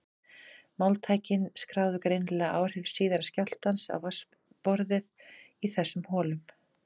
Mælitækin skráðu greinilega áhrif síðari skjálftans á vatnsborðið í þessum holum.